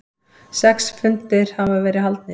Sex fundir hafa verið haldnir.